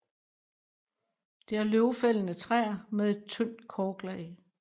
Det er løvfældende træer med et tyndt korklag